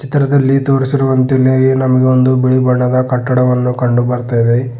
ಚಿತ್ರದಲ್ಲಿ ತೋರಿಸಿರುವಂತೆ ಇಲ್ಲಿ ನಮಗೆ ಒಂದು ಬಿಳಿ ಬಣ್ಣದ ಕಟ್ಟಡವನ್ನು ಕಂಡು ಬರ್ತಾ ಇದೆ.